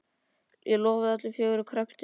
Ég lofaði öllu fögru og kreppti hnefana.